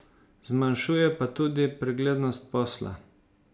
Zmanjšuje pa tudi preglednost posla.